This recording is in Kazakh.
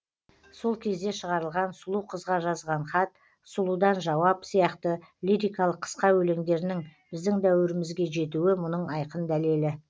сол кезде шығарылған сұлу қызға жазған хат сұлудан жауап сияқты лирикалық қысқа өлеңдерінің біздің дәуірімізге жетуі мұның айқын дәлелі